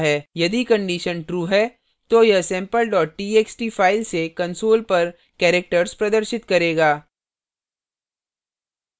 यदि condition true है तो यह sample txt फाइल से console पर characters प्रदर्शित करेगा